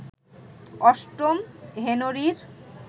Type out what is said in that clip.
অষ্টম হেনরির